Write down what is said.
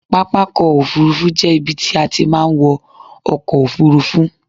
Pápakọ̀ òfurufú jẹ́ ibi tí a ti máa ń wọ ọkọ̀ òfurufú.